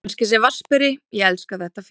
Kannski sem vatnsberi, ég elska þetta félag.